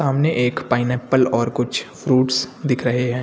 सामने एक पाइनएप्पल और कुछ फ्रूट्स दिख रहे हैं।